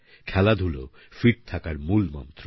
খেলাধুলো ফিট থাকার মূলমন্ত্র